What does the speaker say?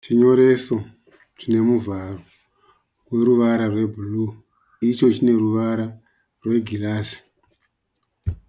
Chinyoreso chine muvharo woruvara rwe"blue". Icho chine ruvara rwegirazi.